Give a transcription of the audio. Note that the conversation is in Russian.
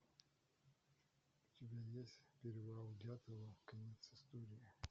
у тебя есть перевал дятлова конец истории